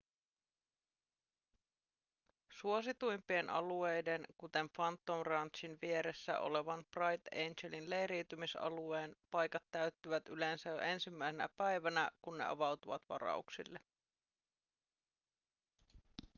suosituimpien alueiden kuten phantom ranchin vieressä olevan bright angelin leiriytymisalueen paikat täyttyvät yleensä jo ensimmäisenä päivänä kun ne avautuvat varauksille